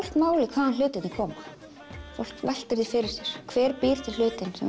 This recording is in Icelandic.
fólk máli hvaðan hlutirnir koma fólk veltir því fyrir sér hver býr til hlutinn sem